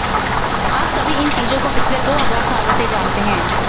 आप सभी इन चीजों को पिछले दो हजार सालों से जानते हैं